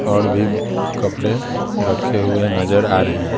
और भी कपड़े रखे हुए नजर आ रहे हैं।